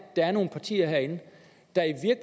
der er nogle partier herinde der